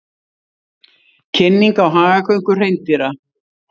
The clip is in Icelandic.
Kynning á hagagöngu hreindýra